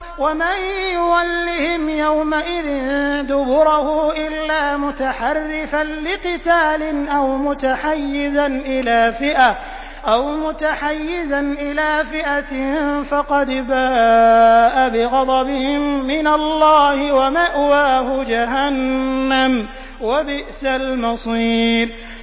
وَمَن يُوَلِّهِمْ يَوْمَئِذٍ دُبُرَهُ إِلَّا مُتَحَرِّفًا لِّقِتَالٍ أَوْ مُتَحَيِّزًا إِلَىٰ فِئَةٍ فَقَدْ بَاءَ بِغَضَبٍ مِّنَ اللَّهِ وَمَأْوَاهُ جَهَنَّمُ ۖ وَبِئْسَ الْمَصِيرُ